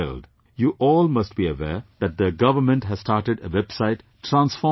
You all must be aware that the government has started a website, transforming india